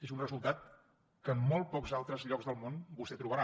és un resultat que en molt pocs altres llocs del món vostè trobarà